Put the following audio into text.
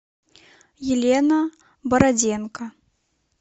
елена бороденко